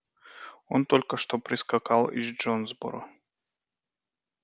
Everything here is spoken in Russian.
он только что прискакал из джонсборо